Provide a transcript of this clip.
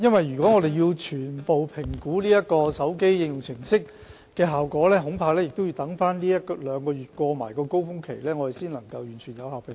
如果要全面評估該手機應用程式的效果，我恐怕要待這一兩個月的高峰期過後，才可有效地作出評估。